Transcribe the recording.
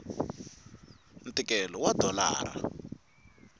ntikelo wa dolara